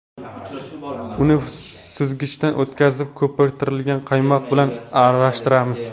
Uni suzgichdan o‘tkizib, ko‘pirtirilgan qaymoq bilan aralashtiramiz.